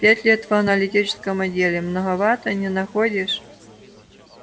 пять лет в аналитическом отделе многовато не находишь